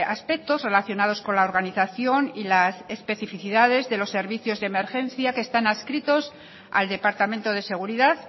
aspectos relacionados con la organización y las especificidades de los servicios de emergencia que están adscritos al departamento de seguridad